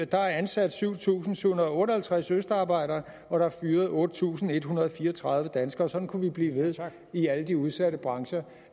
der ansat syv tusind syv hundrede og otte og halvtreds østarbejdere og der er fyret otte tusind en hundrede og fire og tredive danskere sådan kunne vi blive ved i alle de udsatte brancher